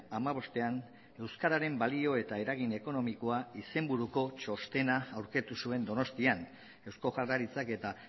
hamabostean euskararen balio eta eragin ekonomikoa izenburuko txostena aurkeztu zuen donostian eusko jaurlaritzak eta